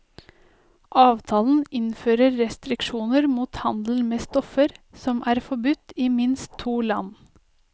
Avtalen innfører restriksjoner mot handel med stoffer, som er forbudt i minst to land.